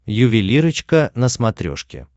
ювелирочка на смотрешке